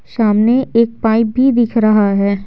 सामने एक पाइप भी दिख रहा है।